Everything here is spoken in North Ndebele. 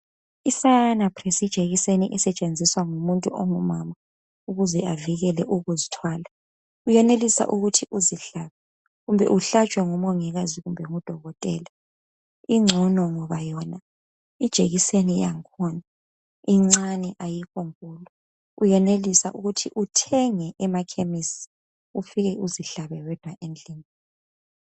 Ijekiseni esetshenziswa ngumuntu ongumama ukuze avikele ukuzithwala uyenelisa ukuthi uzihlabe kumbe uhlatshwe ngumongikazi kumbe ngudokotela incono ngoba ijekiseni yakho incane ayikho nkulu uyenelisa ukuthi uthenge emakhemisi ufike uzihlabe wedwa endlini.